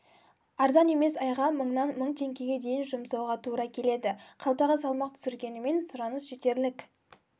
арзан емес айға мыңнан мың теңгеге дейін жұмсауға тура келеді қалтаға салмақ түсіргенімен сұраныс жетерлік